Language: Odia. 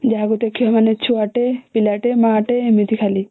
ଯାହାକୁ ଦେଖିବେ ମାନେ ଛୁଆ ଟେ ପିଲା ଟେ ମା ଟେ ଏମିତି ଖାଲି